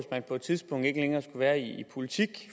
man på et tidspunkt ikke længere skulle være i politik